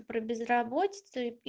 про безработицу и